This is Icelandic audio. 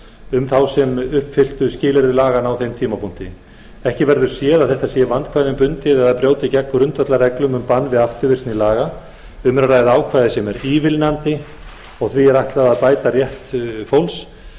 um þá sem uppfylltu skilyrði laganna á þeim tímapunkti ekki verður séð að þetta sé vandkvæðum bundið eða brjóti gegn grundvallarreglu um bann við afturvirkni laga um er að ræða ákvæði sem er ívilnandi því er ætlað að bæta rétt fólks